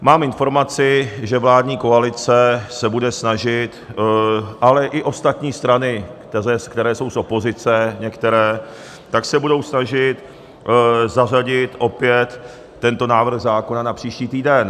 Mám informaci, že vládní koalice se bude snažit - ale i ostatní strany, které jsou z opozice některé - tak se budou snažit zařadit opět tento návrh zákona na příští týden.